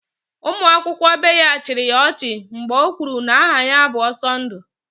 Ụmụ akwụkwọ ibe ya chịrị ya ọchị mgbe o kwuru na aha ya bụ Ọsọndụ